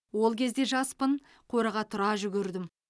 ол кезде жаспын қораға тұра жүгірдім